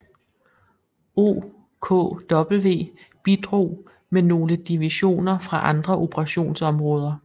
OKW bidrog med nogle divisioner fra andre operationsområder